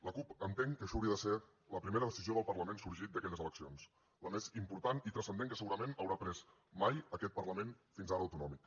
la cup entén que això hauria de ser la primera decisió del parlament sorgit d’aquelles eleccions la més important i transcendent que segurament haurà pres mai aquest parlament fins ara autonòmic